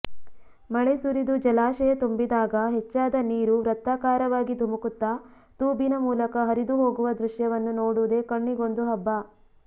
ಮಳೆಸುರಿದು ಜಲಾಶಯ ತುಂಬಿದಾಗ ಹೆಚ್ಚಾದ ನೀರು ವೃತ್ತಾಕಾರವಾಗಿ ಧುಮುಕುತ್ತಾ ತೂಬಿನ ಮೂಲಕ ಹರಿದು ಹೋಗುವ ದೃಶ್ಯವನ್ನು ನೋಡುವುದೇ ಕಣ್ಣಿಗೊಂದು ಹಬ್ಬ